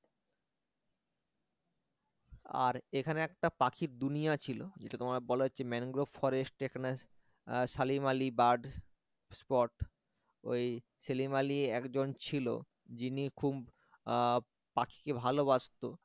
আর এখানে একটা পাখির দুনিয়া ছিল যেটা তোমায় বলা হচ্ছে mangrove forest যেখানে সালিম আলি bird spot ওই সেলিম আলি একজন ছিল যিনি খুব আহ পাখিকে ভালবাসত